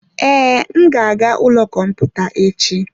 Ee, m ga-aga ụlọ kọmputa echi.